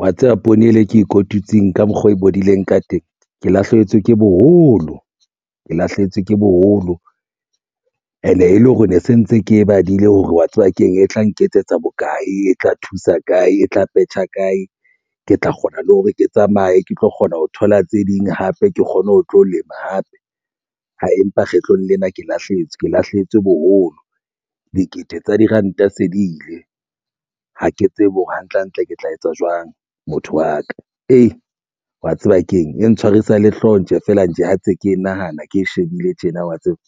wa tseba poone e le e ke e kotutseng ka mokgwa oo e bodileng ka teng. Ke lahlehetswe ke boholo ke lahlehetswe ke boholo and e le hore ne se ntse ke badile hore wa tseba keng e tla nketsetsa bokae. E tla thusa kae e tla petjha kae, ke tla kgona le hore ke tsamaye ke tlo kgona ho thola tse ding hape ke kgone ho tlo lema hape. Empa kgetlong lena ke lahlehetswe ke lahlehetswe boholo. Dikete tsa diranta se di ile ha ke tsebe hore hantle hantle ke tla etsa jwang. Motho wa ka ee, mwa tseba keng e ntshwarisa le hlooho ntle feela ntso ha ntse ke nahana ke shebile tjena wa tseba.